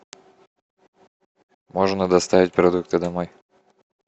можно доставить продукты домой